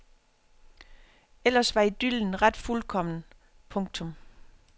Ellers var idyllen ret fuldkommen. punktum